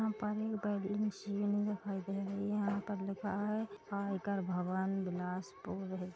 यहाँ पर एक बड़ी मशीन भी दिखाई दे रही हैं यहाँ पर लिखा हुआ है आयकर भवन बिलासपुर--